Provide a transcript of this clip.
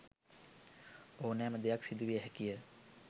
ඕනෑම දෙයක් සිදු විය හැකිය.